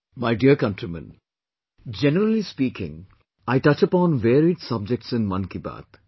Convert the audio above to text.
My dear countrymen, generally speaking, I touch upon varied subjects in Mann ki Baat